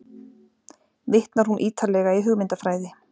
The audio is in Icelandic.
Vitnar hún ítarlega í hugmyndafræði